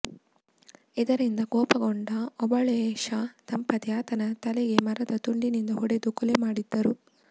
ಇದರಿಂದ ಕೋಪಗೊಂಡ ಓಬಳೇಶ ದಂಪತಿ ಆತನ ತಲೆಗೆ ಮರದ ತುಂಡಿನಿಂದ ಹೊಡೆದು ಕೊಲೆ ಮಾಡಿದ್ದರು